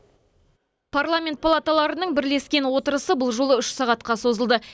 парламент палаталарының бірлескен отырысы бұл жолы үш сағатқа созылды